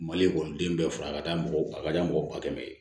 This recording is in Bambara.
Mali ekɔliden bɛɛ fura ka di a ka di mɔgɔ kɛmɛ ye